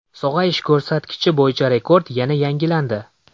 Sog‘ayish ko‘rsatkichi bo‘yicha rekord yana yangilandi.